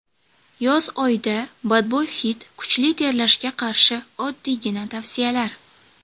Yoz oyida badbo‘y hid, kuchli terlashga qarshi oddiygina tavsiyalar.